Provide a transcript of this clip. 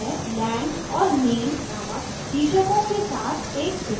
यह lang और name name शीर्षकों के साथ एक table रखती है